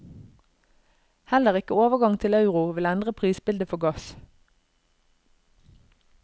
Heller ikke overgang til euro vil endre prisbildet for gass.